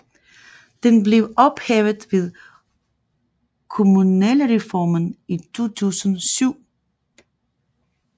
Den blev ophævet ved kommunalreformen i 2007